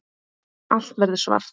Allt verður svart.